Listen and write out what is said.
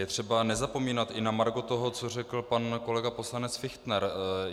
Je třeba nezapomínat i na margo toho, co řekl pan kolega poslanec Fichtner.